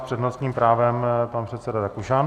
S přednostním právem pan předseda Rakušan.